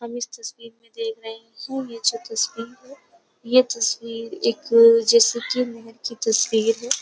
इस तस्वीर में तस्वीर है।